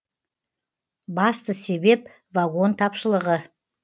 басты себеп вагон тапшылығы